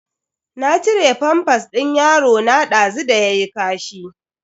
Na cire famfas din yarona dazu da yayi kashi.